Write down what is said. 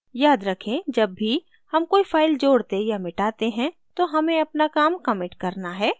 याद रखें जब भी हम कोई file जोड़ते या मिटाते हैं तो हमें अपना काम commit करना है